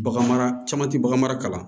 Bagan mara caman tɛ bagan mara